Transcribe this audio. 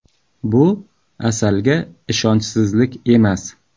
Bu Asalga ishonchsizlik emas.